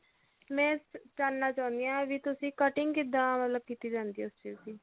ਮੈਂ ਜਾਨਣਾ ਚਾਹੁੰਦੀ ਆ ਵੀ ਤੁਸੀਂ cutting ਕਿੱਦਾਂ ਮਤਲਬ ਕੀਤੀ ਜਾਂਦੀ ਉਸ ਚੀਜ਼ ਦੀ